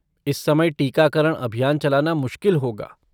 इस समय टीकाकरण अभियान चलाना मुश्किल होगा।